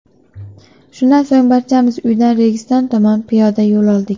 Shundan so‘ng barchamiz uydan Registon tomon piyoda yo‘l oldik.